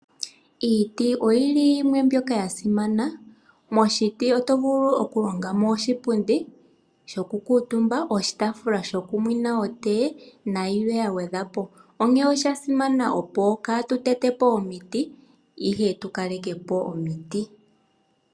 Iiti oyili yimwe mbyoka ya simana, moshiti oto vulu okulonga mo oshipundi shoku kutumba, oshitafula shoku nwina otee nayilwe ya gwedhwa po. Onkene osha simana opo katu tete po omiti, ihe tu kaleke po omiti.